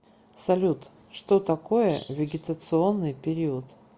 салют что такое вегетационный период